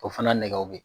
O fana nɛgɛw bɛ